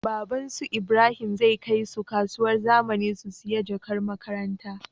Baban su ibrahim zai kai su kasuwar zamani su siya jakar makaranta